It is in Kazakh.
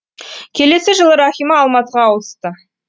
келесі жылы рахима алматыға ауысты